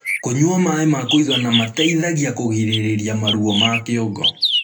kũnyua maĩ ma kuigana mateithagia kũgirĩrĩrĩa maruo ma kĩongo